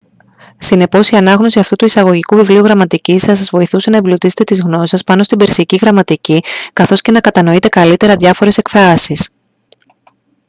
συνεπώς η ανάγνωση αυτού του εισαγωγικού βιβλίου γραμματικής θα σας βοηθούσε να εμπλουτίσετε τις γνώσεις σας πάνω στην περσική γραμματική καθώς και να κατανοείτε καλύτερα διάφορες εκφράσεις